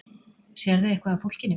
Sérðu eitthvað af fólkinu?